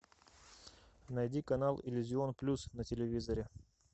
найди канал иллюзион плюс на телевизоре